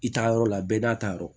I taa yɔrɔ la bɛɛ n'a ta yɔrɔ